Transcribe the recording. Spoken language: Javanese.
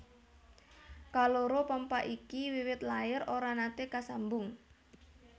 Kaloro pompa iki wiwit lair ora naté kasambung